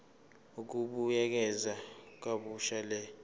ukubuyekeza kabusha le